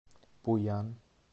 пуян